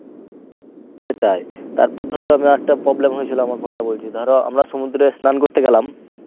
সেটাই। তারপর ধর আমি আরেকটা problem হয়েছিল আমার কোনটা বলছি, ধর আমরা সমুদ্রে স্নান করতে গেলাম।